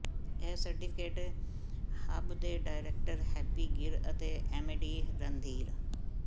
ਇਹ certificate hub ਦੇ director Happy Gir ਅਤੇ ਐੱਮਡੀ ਰਣਧੀਰ